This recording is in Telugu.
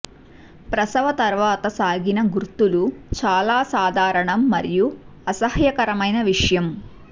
ప్రసవ తర్వాత సాగిన గుర్తులు చాలా సాధారణం మరియు అసహ్యకరమైన విషయం